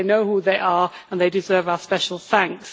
They know who they are and they deserve our special thanks.